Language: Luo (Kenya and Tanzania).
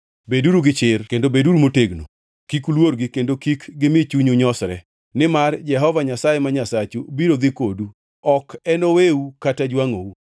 Beduru gi chir kendo motegno. Kik uluorgi kendo kik gimi chunyu nyosre, nimar Jehova Nyasaye ma Nyasachu biro dhi kodu; ok enoweu kata jwangʼou.”